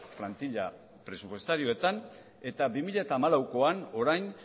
plantila presupuestarioetan eta bi mila hamalauean orain